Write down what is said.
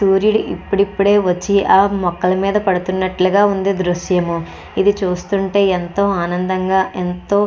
సూర్యుడు ఎప్పుడు ఎప్పుడే వచ్చి ఆ మొక్కల మీద పడ్తున్నట్టు ఉంది ఈ దృశ్యము. ఇది చూస్తుంటే ఎంతో ఆనందంగా ఎంతో --